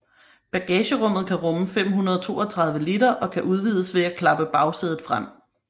Bagagerummet kan rumme 532 liter og kan udvides ved at klappe bagsædet frem